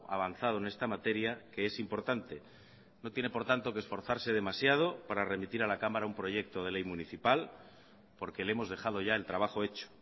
avanzado en esta materia que es importante no tiene por tanto que esforzarse demasiado para remitir a la cámara un proyecto de ley municipal porque le hemos dejado ya el trabajo hecho